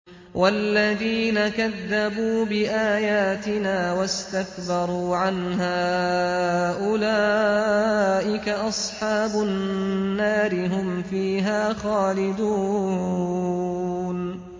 وَالَّذِينَ كَذَّبُوا بِآيَاتِنَا وَاسْتَكْبَرُوا عَنْهَا أُولَٰئِكَ أَصْحَابُ النَّارِ ۖ هُمْ فِيهَا خَالِدُونَ